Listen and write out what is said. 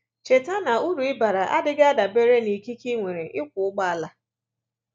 Cheta na uru ị bara adịghị adabere n’ikike i nwere ịkwọ ụgbọala